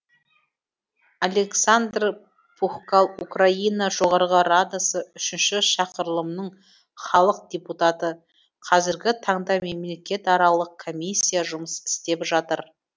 олександр пухкал украина жоғарғы радасы үшінші шақырылымының халық депутаты қазіргі таңда мемлекетаралық комиссия жұмыс істеп жатыр